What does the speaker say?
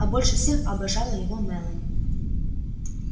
а больше всех обожала его мелани